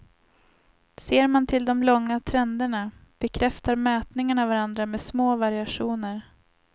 Ser man till de långa trenderna bekräftar mätningarna varandra med små variationer.